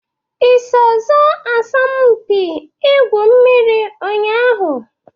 I so sọọ asọmụ mpị igwu mmiri nnya ahụ?